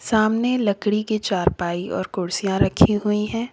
सामने लकड़ी के चारपाई और कुर्सियां रखी हुई है।